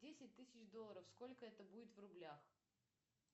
десять тысяч долларов сколько это будет в рублях